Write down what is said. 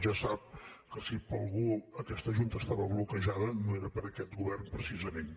ja sap que si per algú aquesta junta estava bloquejada no era per aquest govern precisament